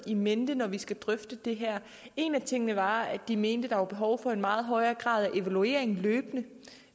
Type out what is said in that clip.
i mente når vi skulle drøfte det her en af tingene var at de mente der var behov for en meget højere grad af evaluering løbende